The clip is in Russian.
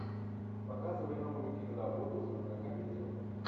показывай новую киноработу жанра комедия